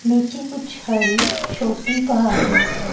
नीचे कुछ हरी छोटी पहाड़ियां है।